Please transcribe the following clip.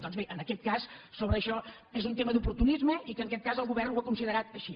doncs bé en aquest cas sobre això és un tema d’oportunisme i que en aquest cas el govern ho ha considerat així